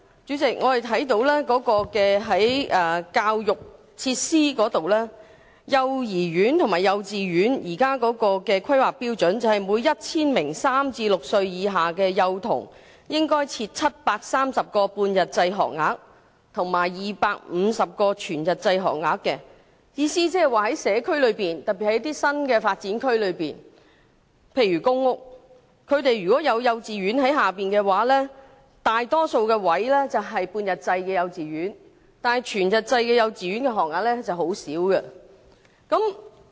主席，在教育設施方面，現時幼兒園和幼稚園的規劃標準是每 1,000 名3歲至6歲以下的幼童應設730個半日制學額及250個全日制學額，即是說在社區內，特別是新發展區內的公屋，大多數幼稚園的學額都是半日制，全日制學額則很少。